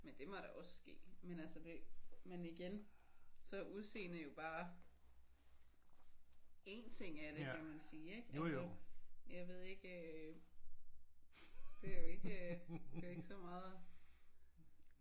Men det må da også ske men altså det men igen så er udseende jo bare en ting af det kan man sige altså. Jeg ved ikke det er jo ikke øh det er jo ikke så meget